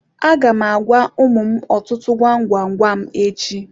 Aga m agwa ụmụ m ọtụtụ gwam gwam gwam echi.